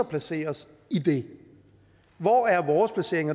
placere os i det hvor er vores placering